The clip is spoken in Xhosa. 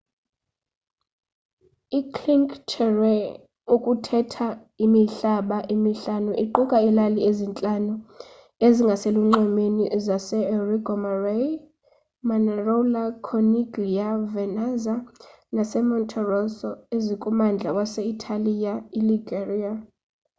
icinque terre okuthetha imihlaba emihlanu iquka iilali ezintlanu ezingaselunxwemeni zaseriomaggiore manarola corniglia vernazza nasemonterosso ezikummandla wase-italiya iliguria